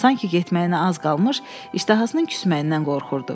Sankı getməyinə az qalmış iştahasının küsməyindən qorxurdu.